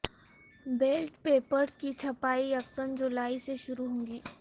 belt papers کی چھپائی یکم جولائی سے شروع ہوگی